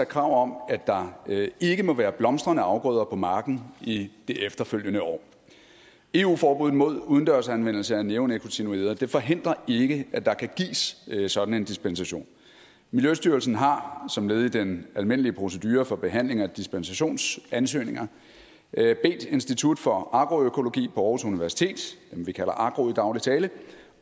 krav om at der ikke må være blomstrende afgrøder på marken i det efterfølgende år eu forbud mod udendørs anvendelse af neonikotinoider forhindrer ikke at der kan gives sådan en dispensation miljøstyrelsen har som led i den almindelige procedure for behandling af dispensationsansøgninger bedt institut for agroøkologi på aarhus universitet dem vi kalder agro i daglig tale